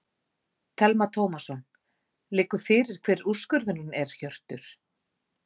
Telma Tómasson: Liggur fyrir hver úrskurðurinn er Hjörtur?